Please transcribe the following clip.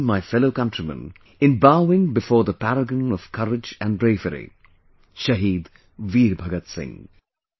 I join my fellow countrymen in bowing before the paragon of courage and bravery, Shaheed Veer Bhagat Singh